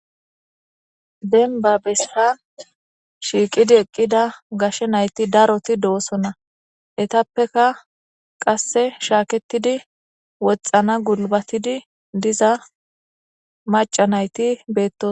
denba bessa shiiqidi eqqida gashe nayti daroti do7osonna etappeka qasse shaaketidi woxana gulbatidi diza maca nayti beetto